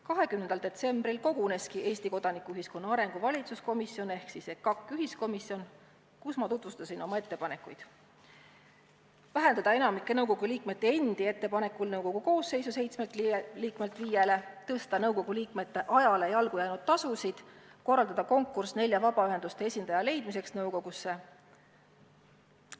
20. detsembril koguneski Eesti kodanikuühiskonna arengu valitsuskomisjon ehk EKAK-i ühiskomisjon, kellele ma tutvustasin oma ettepanekuid: vähendada enamiku nõukogu liikmete endi ettepanekul nõukogu koosseisu seitsmelt liikmelt viiele, suurendada nõukogu liikmete ajale jalgu jäänud tasusid ning korraldada konkurss nelja vabaühenduste esindaja leidmiseks nõukogusse.